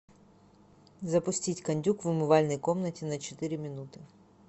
запустить кондюк в умывальной комнате на четыре минуты